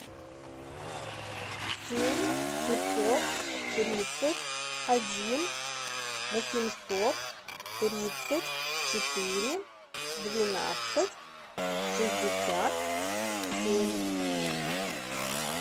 семь пятьсот тридцать один восемьсот тридцать четыре двенадцать шестьдесят семь